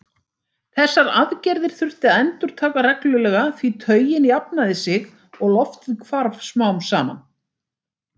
Þessar aðgerðir þurfti að endurtaka reglulega því taugin jafnaði sig og loftið hvarf smám saman.